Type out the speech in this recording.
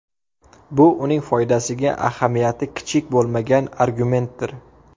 Bu uning foydasiga ahamiyati kichik bo‘lmagan argumentdir.